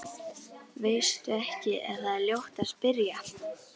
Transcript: Veistu ekki að það er ljótt að spyrja?